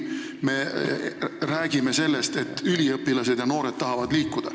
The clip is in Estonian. Me räägime sellest, et üliõpilased ja teised noored tahavad liikuda.